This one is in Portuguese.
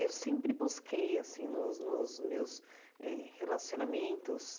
Eu sempre busquei assim, nos nos meus eh relacionamentos,